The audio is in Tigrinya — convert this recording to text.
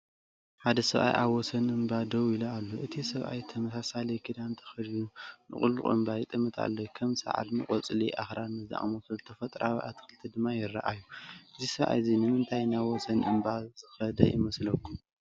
ሓደ ሰብኣይ ኣብ ወሰን እምባ ደው ኢሉ ኣሎ። እቲ ሰብኣይ ተመሳሳሊ ክዳን ተኸዲኑ ንቑልቁል እምባ ይጥምት ኣሎ። ከም ሳዕርን ቆጽሊ ኣኽራንን ዝኣመሰሉ ተፈጥሮኣዊ ኣትክልቲ ድማ ይረኣዩ። እዚ ሰብኣይ እዚ ንምንታይ ናብ ወሰን እምባ ዝኸደ ይመስለኩም?